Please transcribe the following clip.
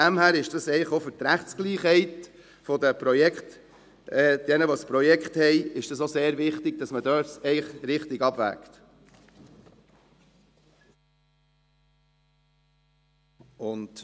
Daher ist es für die Rechtsgleichheit derjenigen, die das Projekt haben, sehr wichtig, dass richtig abgewogen wird.